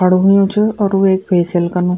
खडू हुयुं च और वेक फेसिअल कनु।